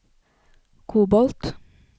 kobolt